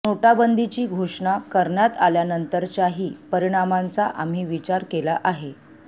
नोटाबंदीची घोषणा करण्यात आल्यानंतरच्याही परिणामांचा आम्ही विचार केला आहे